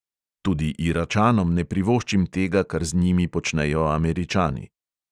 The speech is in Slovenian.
Tudi iračanom ne privoščim tega, kar z njimi počnejo američani.